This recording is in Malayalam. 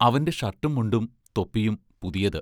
അവന്റെ ഷർട്ടും മുണ്ടും തൊപ്പിയും പുതിയത്.